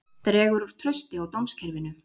Dregur úr trausti á dómskerfinu